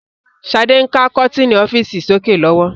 Sade ń ka kọ́tinni ọ́fíìsì sókè lọ́wọ́